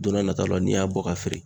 Don n'a nataw la n'i y'a bɔ ka feere.